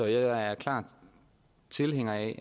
jeg er klar tilhænger af